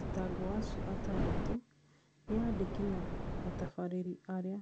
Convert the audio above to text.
Athitangwo acio atandatũ, nĩ andĩki na atabarĩri arĩa